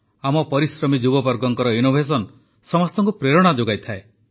ଆମ ପରିଶ୍ରମୀ ଯୁବବର୍ଗଙ୍କ ଇନୋଭେସନ୍ ସମସ୍ତଙ୍କୁ ପ୍ରେରଣା ଯୋଗାଇଥାଏ